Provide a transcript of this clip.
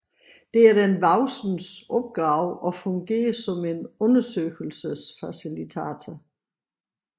Det er den voksnes opgave at fungere som en undersøgelsesfacilitator